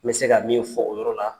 N be se ka min fɔ o yɔrɔ la